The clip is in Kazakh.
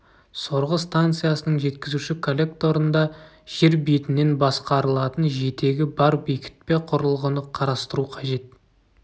сорғы станциясының жеткізуші коллекторында жер бетінен басқарылатын жетегі бар бекітпе құрылғыны қарастыру қажет